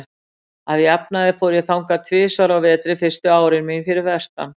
Að jafnaði fór ég þangað tvisvar á vetri fyrstu árin mín fyrir vestan.